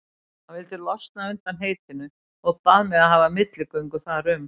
Hann vildi losna undan heitinu og bað mig að hafa milligöngu þar um.